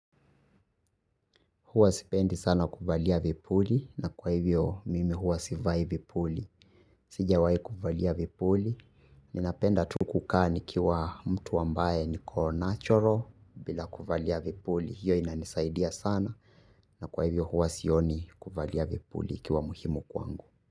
Huwa sipendi sana kuvalia vipuli, na kwa hivyo mimi huwa sivai vipuli. Sijawai kuvalia vipuli. Ninapenda tuku kaa nikiwa mtu ambaye niko 'natural' bila kuvalia vipuli. Hiyo inanisaidia sana na kwa hivyo huwa sioni kuvalia vipuli ikiwa muhimu kwangu.